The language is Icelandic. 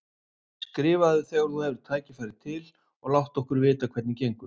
Skrifaðu þegar þú hefur tækifæri til og láttu okkur vita hvernig gengur.